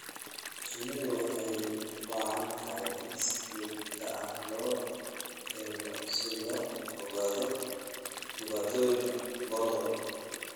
Shinnidu waxay u baahan tahay in si joogto ah loo eego si loo ogaado dhibaatooyinka goor hore.